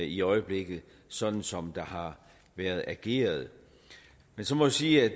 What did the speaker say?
i øjeblikket sådan som der har været ageret man så må jeg sige at